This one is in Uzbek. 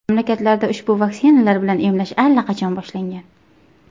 Mamlakatlarda ushbu vaksinalar bilan emlash allaqachon boshlangan.